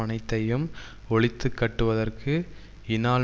அனைத்தையும் ஒழித்து கட்டுவதற்கு இனால்